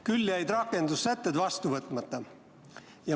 Küll jäid rakendussätted vastu võtmata.